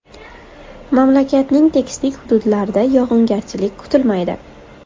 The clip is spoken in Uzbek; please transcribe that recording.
Mamlakatning tekislik hududlarda yog‘ingarchilik kutilmaydi.